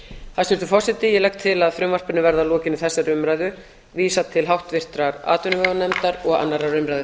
hæstvirtur forseti ég legg til að frumvarpinu verði að lokinni þessari umræðu vísað til háttvirtrar atvinnuveganefndar og annarrar umræðu